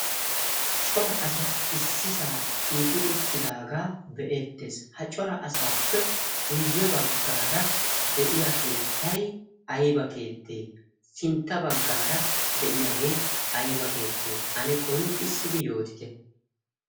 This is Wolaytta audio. Cora asay ississ shiiqi uttidaaga be'eettees. ha coraa asaappe guyye baggar guyye baggar de'iyaa keettay aybba keettee? sintta baggra de'iyaa keettay aybba keettee? ane qonccissidi yootite.